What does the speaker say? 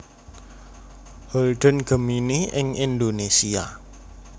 Holden Gemini ing Indonésia